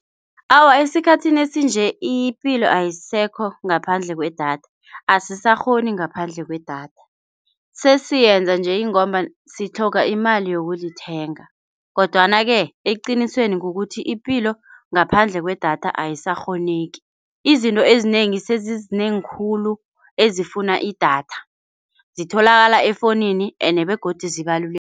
Awa, esikhathini esinje ipilo ayisekho ngaphandle kwedatha. Asisakghoni ngaphandle kwedatha, sesiyenza nje ingomba sitlhoga imali yokulithenga kodwana-ke eqinisweni kukuthi ipilo ngaphandle kwedatha ayisakghoneki. Izinto ezinengi sezizinengi khulu ezifuna idatha zitholakala efowunini ende begodu ezibalulekile.